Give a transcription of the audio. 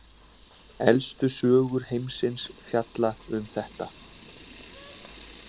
Elstu sögur heimsins fjalla um þetta.